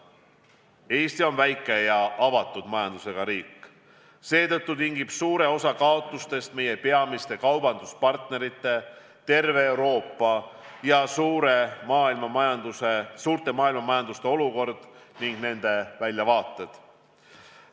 Eesti on väike ja avatud majandusega riik, seetõttu tingib suure osa kaotustest meie peamiste kaubanduspartnerite, terve Euroopa ja suure maailmamajanduse olukord ning selle väljavaated.